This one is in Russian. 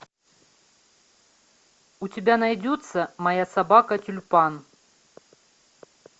у тебя найдется моя собака тюльпан